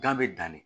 Gan bɛ dan de